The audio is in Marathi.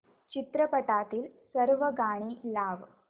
चित्रपटातील सर्व गाणी लाव